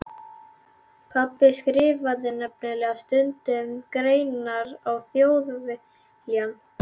Pabbi skrifaði nefnilega stundum greinar í Þjóðviljann.